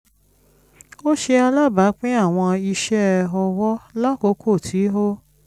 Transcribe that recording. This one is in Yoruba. ó ṣe alábàápín àwọn iṣẹ́-ọwọ́ lákòókò tí ó